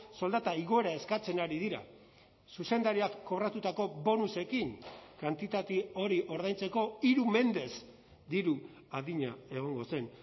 soldata igoera eskatzen ari dira zuzendariak kobratutako bonusekin kantitate hori ordaintzeko hiru mendez diru adina egongo zen